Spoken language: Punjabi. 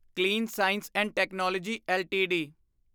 clean science and technology LTD